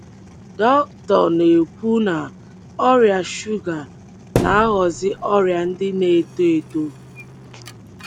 Dr na-ekwu na, Ọrịa shuga na-aghọzi ọrịa ndị na-eto eto